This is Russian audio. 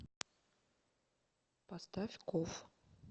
поставь коф